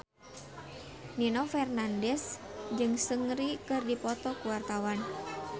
Nino Fernandez jeung Seungri keur dipoto ku wartawan